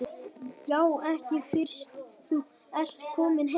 Ja, ekki fyrst þú ert kominn heim.